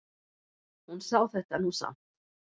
Hún sá þetta nú samt.